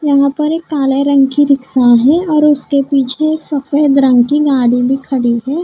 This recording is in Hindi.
यहां पर एक काले रंग की रिक्शा है और उसके पीछे एक सफेद रंग की गाड़ी भी खड़ी है।